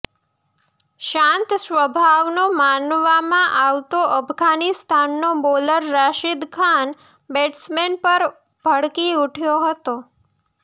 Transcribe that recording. શાંત સ્વભાવનો માનવામાં આવતો અફઘાનિસ્તાનનો બોલર રાશિદ ખાન બેટસમેન પર ભડકી ઉઠ્યો હતો